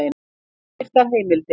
Óbirtar heimildir: